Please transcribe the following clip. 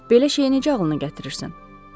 “Belə şeyi necə ağlınıza gətirirsiz?”